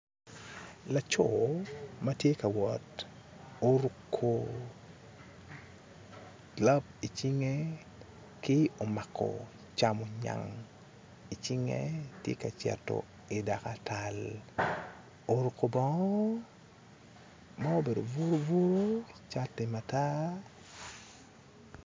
Laco ma tye ka wot oruko gilab i cinge ki omako camongenye i cinge tye ka cito i dakatal oruko bongo ma obedo buru buru ki cati matar